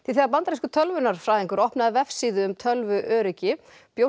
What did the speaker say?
þegar bandarískur tölvunarfræðingur opnaði vefsíðu um tölvuöryggi bjóst